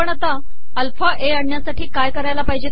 आपण alpha A आणणयासाठी काय करावे